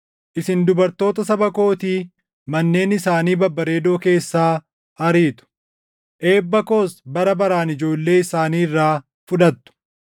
Isin dubartoota saba kootii manneen isaanii babbareedoo keessaa ariitu. Eebba koos bara baraan ijoollee isaanii irraa fudhattu.